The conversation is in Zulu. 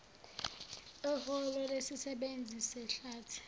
eholo lesisebenzi sehlathi